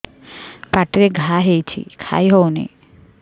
ପାଟିରେ ଘା ହେଇଛି ଖାଇ ହଉନି